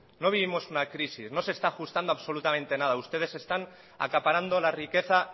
no vivimos una crisis no se está ajustando absolutamente nada ustedes están acaparando la riqueza